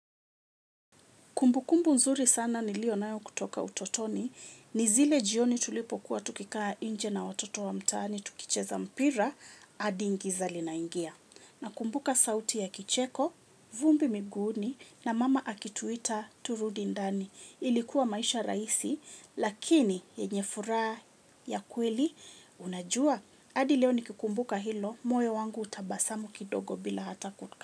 Kumbukumbu zuri sana niliyonayo kutoka utotoni, ni zile jioni tulipokuwa tukikaa nje na watoto wa mtaani, tukicheza mpira adi giza linaingia. Nakumbuka sauti ya kicheko, vumbi miguuni, na mama akituita turudi ndani. Ilikuwa maisha rahisi, lakini yenye furaha ya kweli. Unajua, hadi leo nikikumbuka hilo, moyo wangu hutabasamu kidogo bila hata.